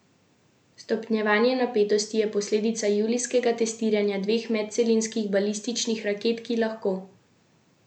Stopnjevanje napetosti je posledica julijskega testiranja dveh medcelinskih balističnih raket, ki lahko, po besedah Pjongjanga, dosežeta tudi ameriška območja.